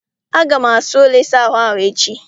Aga m asa ụlọ ịsa ahụ ahụ echi.